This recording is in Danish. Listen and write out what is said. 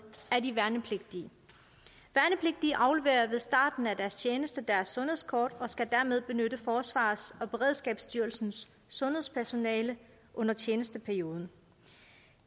er de værnepligtige værnepligtige afleverer ved starten af deres tjeneste deres sundhedskort og skal dermed benytte forsvarets og beredskabsstyrelsens sundhedspersonale under tjenesteperioden